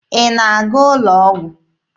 Ị na-aga ụlọ ọgwụ?